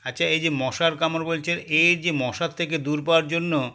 আচ্ছা এইযে মশার কামড় বলছেন এর যে মশার থেকে দূর পাওয়ার জন্য